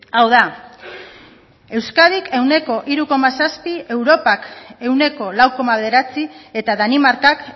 hau da euskadik ehuneko hiru koma zazpi europak ehuneko lau koma bederatzi eta danimarkak